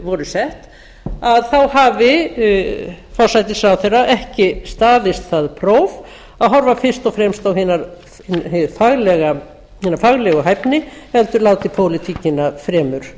voru sett að þá hafi forsætisráðherra ekki staðist það próf að horfa fyrst og fremst á hina faglegu hæfni heldur látið pólitíkina fremur